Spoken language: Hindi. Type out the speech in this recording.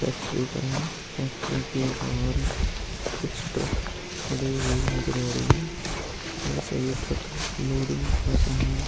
फैक्ट्री का है फैक्ट्री के बाहर कुछ ट्रक खड़े हुए नजर आ रहे है ये सभी ट्रक लोडिंग का सामान --